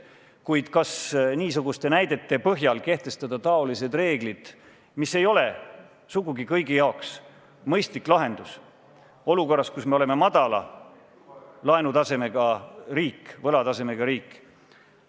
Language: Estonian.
Kuid kas niisuguste näidete põhjal kehtestada taolised reeglid, mis ei ole sugugi kõigi jaoks mõistlik lahendus, olukorras, kus me oleme madala laenutasemega riik, võlatasemega riik?